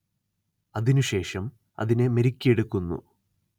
അതിനു ശേഷം അതിനെ മെരുക്കിയെടുക്കുന്നു